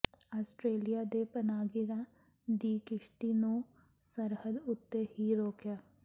Australia ਨੇ ਪਨਾਹਗੀਰਾਂ ਦੀ ਕਿਸ਼ਤੀ ਨੂੰ ਸਰਹੱਦ ਉੱਤੇ ਹੀ ਰੋਕਿਆ